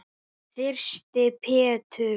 Þyrsti Pétur.